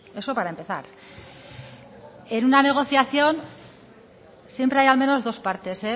eso para empezar en una negociación siempre hay al menos dos partes